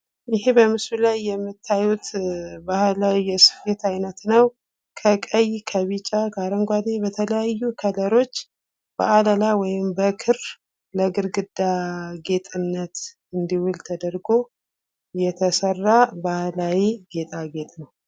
ይህ በምስሉ ላይ የምታዩት ባህላዊ የስፊት ዓይነት ነው። ከቀኝ፣ ከቢጫ ከአረንጓዴ በተለያዩ ከለሮች በአለላ ወይም በክር ለግርግዳ ጌጥነት እንዲውል ተደርጎ የተሰራ ባህላዊ ጌጣጌጥ ነው።